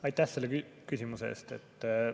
Aitäh selle küsimuse eest!